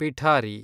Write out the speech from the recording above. ಪಿಠಾರಿ